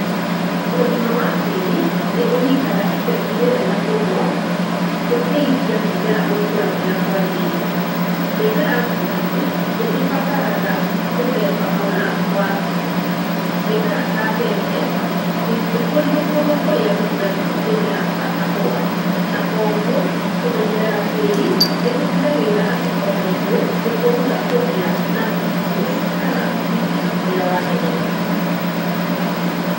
Ũgima wa tĩri nĩ ũnyitaga itemi rĩnene mũno gũteithia mĩmera gũkũra ũrĩa kwagĩrĩire. Mĩmera ngũrani nĩ ĩbataraga mũthemba mũna wa tĩri. Mĩmera ta mbembe ndĩngĩkũrio kũndũ kũrũa gũkũragio mĩmera ta kahũa na koguo, kũmenyerera tĩri nĩ gũtigagĩrĩra atĩ o na ithuĩ nĩ twahota kũgĩa na irio kana umithio ũrĩa wagĩrĩire.